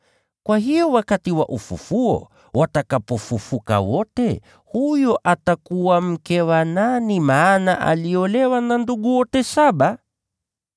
Kwa hiyo wakati wa ufufuo, yeye atakuwa mke wa nani, maana aliolewa na ndugu wote saba?”